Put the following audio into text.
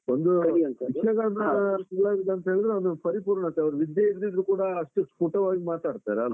ಒಂದು ಯಕ್ಷಗಾನ ಕಲಾವಿದ ಅಂತ ಹೇಳಿದ್ರೆ ಒಂದು ಪರಿಪೂರ್ಣತೆ, ಅವ್ರು ವಿದ್ಯೆ ಇರದಿದ್ರೂ ಕೂಡ ಅಷ್ಟೇ ಸ್ಪುಟವಾಗಿ ಮಾತಾಡ್ತಾರೆ ಅಲ್ವಾ.